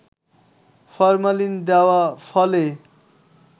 formalin দেওয়া ফলে